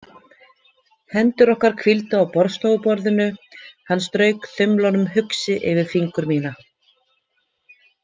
Hendur okkar hvíldu á borðstofuborðinu, hann strauk þumlunum hugsi yfir fingur mína.